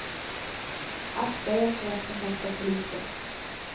Akta er för att kontakta polisen.